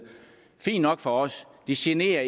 det er fint nok for os det generer